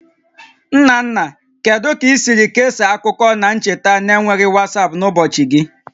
Nna nna, kedu ka i siri kesaa akụkọ na ncheta na-enweghị WhatsApp n'ụbọchị gị?